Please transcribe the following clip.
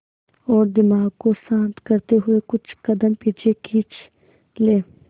और दिमाग को शांत करते हुए कुछ कदम पीछे खींच लें